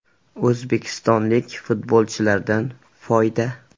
O‘zbekistonlik futbolchilardan foyda.